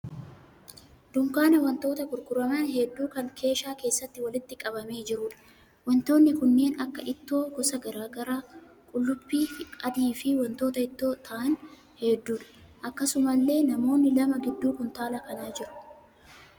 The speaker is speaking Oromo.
Dunkaana wantoota gurguraman hedduu kan keeshaa keessatti walitti qabamee jiruudha. Wantoonni kunneen kan akka ittoo gosa garaa garaa, qullubbii adii fi wantoota ittoo ta'aan hedduudha. Akkasumallee namoonni lama gidduu kuntaala kanaa jiru.